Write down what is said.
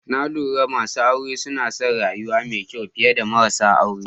Na lura masu aure suna son rayuwa mai kyau fiye da marasa aure.